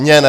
Mně ne.